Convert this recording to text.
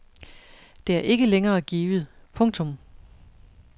Det er ikke længere givet. punktum